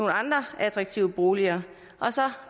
andre attraktive boliger og så